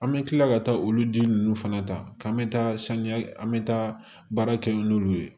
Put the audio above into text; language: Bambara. An bɛ kila ka taa olu ji ninnu fana ta k'an bɛ taa saniya an bɛ taa baara kɛ n'olu ye